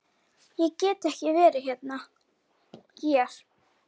Ég get ekki verið hér.